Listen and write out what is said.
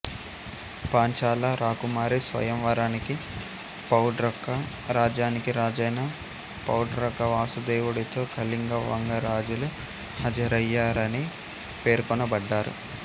పాంచాల రాకుమారి స్వయంవరానికి పౌడ్రక రాజ్యానికి రాజైన పౌడ్రక వాసుదేవుడితో కళింగ వంగ రాజులు హాజరయ్యారని పేర్కొనబడ్డారు